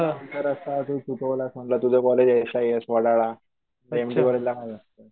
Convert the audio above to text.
म्हणलं तुझं कॉलेज आहे एस आय एस वडाळा.